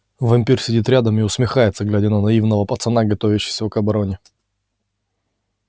вампир сидит рядом и усмехается глядя на наивного пацана готовящегося к обороне